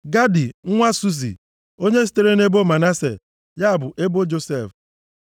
Gadi nwa Susi, onye sitere nʼebo Manase (ya bụ ebo Josef).